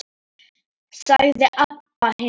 sagði Abba hin.